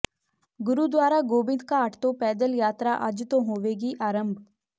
ਗੁਰਦੁਆਰਾ ਗੋਬਿੰਦਘਾਟ ਤੋਂ ਪੈਦਲ ਯਾਤਰਾ ਅੱਜ ਤੋਂ ਹੋਵੇਗੀ ਆਰੰਭ